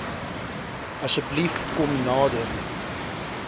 asseblief kom nader